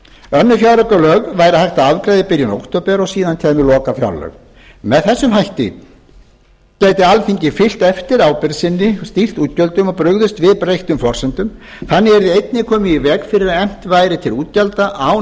önnur fjáraukalög væri hægt að afgreiða í byrjun október og síðan kæmu lokafjárlög með þessum hætti gæti alþingi fylgt eftir ábyrgð sinni stýrt útgjöldum og brugðist við breyttum forsendum þannig yrði einnig komið í veg fyrir að efnt væri til útgjalda án